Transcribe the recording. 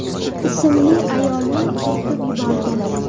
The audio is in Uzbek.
ismli ayolni turtib yuborgan.